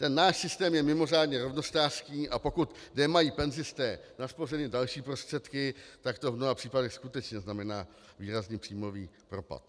Ten náš systém je mimořádně rovnostářský, a pokud nemají penzisté naspořeny další prostředky, tak to v mnoha případech skutečně znamená výrazný příjmový propad.